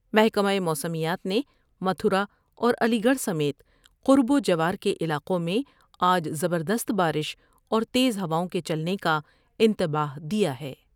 محکمہ موسمیات نے متھرا اور علی گڑھ سمیت قرب و جوار کے علاقوں میں آج زبردست بارش اور تیز ہواؤں کے چلنے کا انتباہ دیا ہے ۔